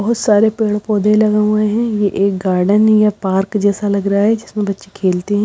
बहुत सारे पेड़ पौधे लगे हुए है ये एक गार्डन या पार्क जैसा लग रहा है जिसमें बच्चे खेलते--